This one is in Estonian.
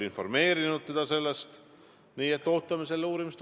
Miks te siis üldse sellise konstruktsiooni teete?